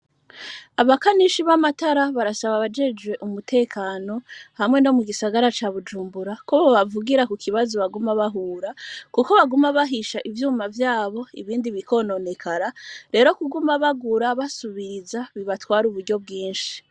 Abakanishi b'amatara barasaba abajejwe umutekano hamwe no mu gisagara ca bujumbura kubo bavugira ku kibazo baguma bahura, kuko baguma bahisha ivyuma vyabo ibindi bikononekara rero kuguma bagura basubiriza bibatware uburyo bwinshi.